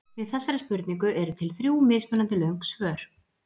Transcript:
Við þessari spurningu eru til þrjú mismunandi löng svör.